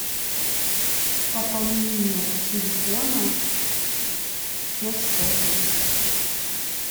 пополнение телефона все способы